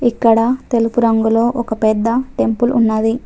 ఇక్కడ తెలుపు రంగులో ఒక పెద్ద టెంపుల్ ఉన్నది.